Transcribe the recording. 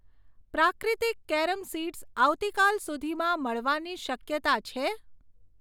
પ્રાક્રીતિક carom seeds આવતીકાલ સુધીમાં મળવાની શક્યતા છે?